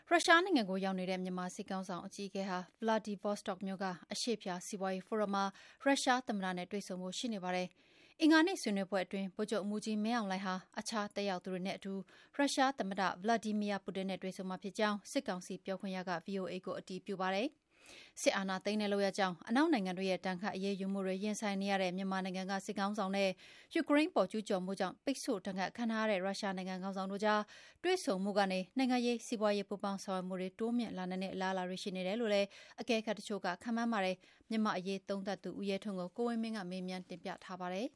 ရုရှားနိုင်ငံမှာ ရောက်နေတဲ့ မြန်မာစစ်ကောင်စီ အကြီးအကဲဟာ ဗလာဒီဗော့စတော့မြို့ က အရှေ့ဖျား စီးပွားရေးဖိုရမ်မှာ ရုရှားသမ္မတနဲ့ တွေ့ဆုံဖို့ ရှိနေပါတယ်။ဗုဒ္ဓဟူးနေ့ ဆွေးနွေးပွဲအတွင်း ဗိုလ်ချုပ်မှူးကြီး မင်းအောင်လှိုင်ဟာ တခြားတက်ရောက်သူတွေနဲ့အတူ ရုရှားသမ္မတ Vladimir Putin နဲ့ တွေ့ဆုံမှာဖြစ်ကြောင်း စစ်ကောင်စီ ပြောခွင့်ရက ဗွီအိုအေကို အတည်ပြုပါတယ်။ စစ်အာဏာသိမ်းတဲ့ လုပ်ရပ်ကြောင့် အနောက်နိုင်ငံတွေရဲ့ ဒဏ်ခတ် အရေးယူမှုတွေ ရင်ဆိုင်နေရတဲ့ မြန်မာနိုင်ငံက စစ်ခေါင်းဆောင်နဲ့ ယူကရိန်းအပေါ် ကျုးကျော်မှုကြောင့် ပိတ်ဆို့ဒဏ်ခတ်ခံထားရတဲ့ ရုရှားနိုင်ငံက ခေါင်းဆောင်တို့ကြား တွေ့ဆုံမှုကနေ နိုင်ငံရေး၊ စီးပွားရေး ပူးပေါင်းဆောင်ရွက်မှုတွေ တိုးမြှင့်လာနိုင်တဲ့ အလားအလာတွေ ရှိနေတယ်လို့လည်း အကဲခတ်တချို့က ခန့်မှန်းကြပါတယ်။ မြန်မာ့အရေးသုံးသပ်သူ ဦးရဲထွန်းကို ကိုဝင်းမင်း ကမေးမြန်းတင်ပြထားပါတယ်